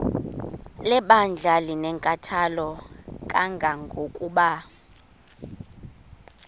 lebandla linenkathalo kangangokuba